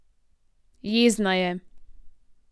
Jezna je.